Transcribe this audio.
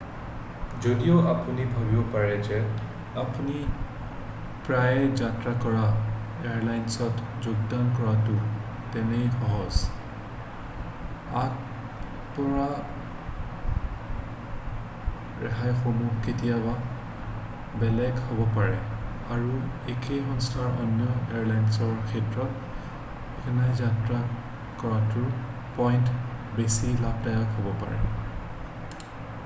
যদিও আপুনি ভাৱিব পাৰে যে আপুনি প্ৰায়েই যাত্ৰা কৰা এয়াৰলাইনত যোগদান কৰাটো তেনেই সহজ আগবঢ়োৱা ৰেহাইসমূহ কেতিয়াবা বেলেগ হ'ব পাৰে আৰু একে সংস্থাৰ অন্য এয়াৰলাইনছৰ ক্ষেত্ৰত সঘনাই যাত্ৰা কৰোঁতাৰ পইণ্ট বেছি লাভদায়ক হ'ব পাৰে